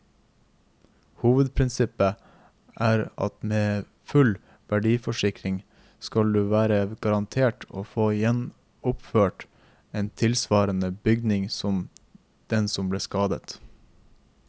Hovedprinsippet er at med en fullverdiforsikring skal du være garantert å få gjenoppført en tilsvarende bygning som den som ble skadet.